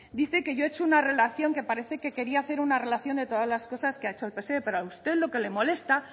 dice que yo he hecho una relación que parece que quería hacer una relación de todas las cosas que ha hecho el pse pero a usted lo que le molesta